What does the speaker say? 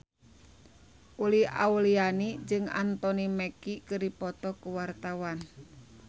Uli Auliani jeung Anthony Mackie keur dipoto ku wartawan